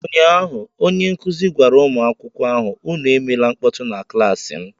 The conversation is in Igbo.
Ụnyaahụ onye nkuzi gwara ụmụ akwụkwọ ahụ, Unu emela mkpọtụ na klaasị m!